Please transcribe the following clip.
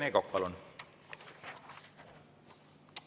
Rene Kokk, palun!